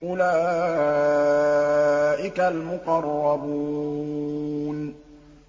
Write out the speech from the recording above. أُولَٰئِكَ الْمُقَرَّبُونَ